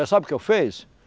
Eh, sabe o que eu fiz?